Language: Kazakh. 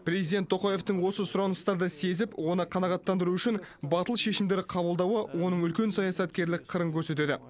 президент тоқаевтың осы сұраныстарды сезіп оны қанағаттандыру үшін батыл шешімдер қабылдауы оның үлкен саясаткерлік қырын көрсетеді